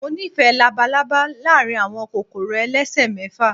Mo nífẹ̀ẹ́ labalaba láàárín àwọn kòkòrò elesemefa.